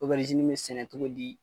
bɛ sɛnɛ cogo di